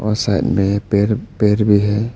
और साइड में a pair pair भी है।